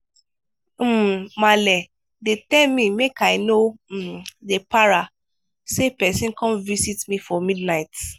um maale dey tell me make i no um dey para sey person come visit me for midnight.